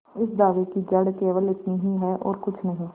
इस दावे की जड़ केवल इतनी ही है और कुछ नहीं